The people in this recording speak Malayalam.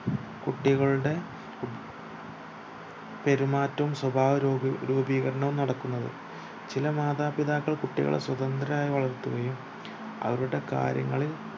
കുട്ടികൾടെ കുട് പെരുമാറ്റവും സ്വഭാവ രൂപീകരണവും നടക്കുന്നത് ചില മാതാപിതാക്കൾ കുട്ടികളെ സ്വതന്ത്രരായി വളർത്തുകയും അവരുടെ കാര്യങ്ങളിൽ